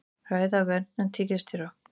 Ræða verndun tígrisdýra